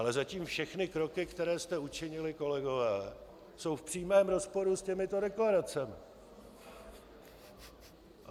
Ale zatím všechny kroky, které jste učinili, kolegové, jsou v přímém rozporu s těmito deklaracemi.